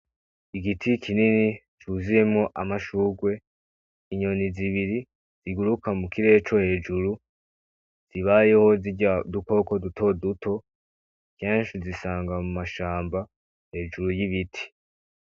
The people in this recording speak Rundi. Igiti kinini cuzuyemo amashurwe inyoni zibiri ziguruka mu kirere co hejuru zibayeho zirya dukoko duto duto kenshi zisanga mu mashamba hejuru y'ibiti.